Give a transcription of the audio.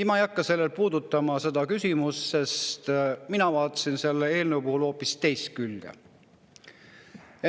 Ma ei hakka seda küsimust puudutama, sest mina vaatan selle eelnõu hoopis teist külge.